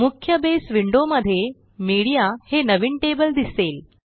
मुख्य बसे विंडो मध्ये मीडिया हे नवीन टेबल दिसेल